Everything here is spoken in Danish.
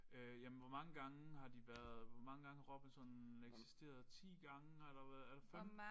Øh jamen hvor mange gange har de været hvor mange gange har Robinson eksisteret 10 gange har der været er der 15